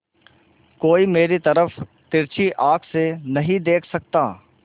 कोई मेरी तरफ तिरछी आँख से नहीं देख सकता